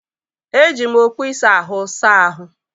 Eji m okpu ịsa ahụ saa ahụ́.